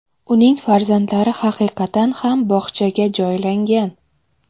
Uning farzandlari haqiqatan ham bog‘chaga joylangan.